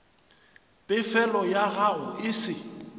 pefelo ya gago e se